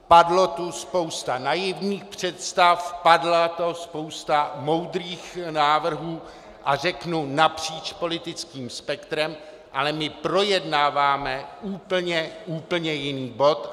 Padla tu spousta naivních představ, padla tu spousta moudrých návrhů, a řeknu napříč politickým spektrem, ale my projednáváme úplně, úplně jiný bod.